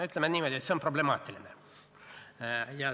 Ütleme niimoodi, et see on problemaatiline.